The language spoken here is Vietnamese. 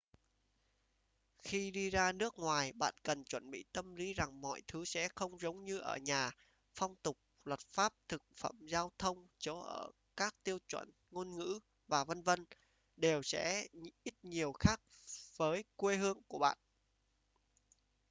khi đi ra nước ngoài bạn cần chuẩn bị tâm lý rằng mọi thứ sẽ không giống như ở nhà phong tục luật pháp thực phẩm giao thông chỗ ở các tiêu chuẩn ngôn ngữ và v.v. đều sẽ ít nhiều khác với ở quê hương của bạn